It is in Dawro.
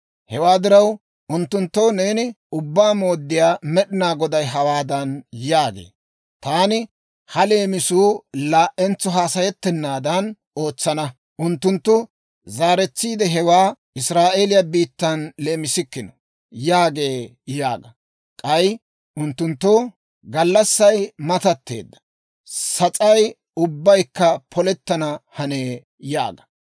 Hewaa diraw, unttunttoo neeni, ‹Ubbaa Mooddiyaa Med'inaa Goday hawaadan yaagee; «Taani ha leemisuu laa"entso hassayettennaadan ootsana; unttunttu zaaretsiide, hewaa Israa'eeliyaa biittan leemisikkino» yaagee› yaaga. K'ay unttunttoo, ‹Gallassay matatteedda; sas'ay ubbaykka polettana hanee› yaaga.